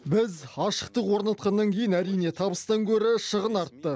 біз ашықтық орнатқаннан кейін әрине табыстан гөрі шығын артты